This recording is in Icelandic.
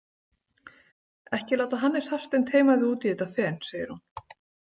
Ekki láta Hannes Hafstein teyma þig út í þetta fen, segir hún.